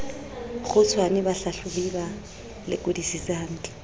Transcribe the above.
kgutshwane bahlahlobi ba lekodisise hantle